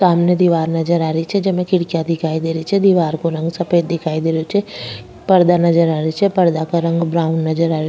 सामने दिवार नजर आ री छे जेमे खिड़किया नजरा री छे दिवार को रंग सफेद दिखाई दे रेहो छे पर्दो नजर आ रेहो छे पर्दा का रंग ब्राउन नजर आ रेहो छे।